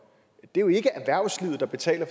det er jo ikke erhvervslivet der betaler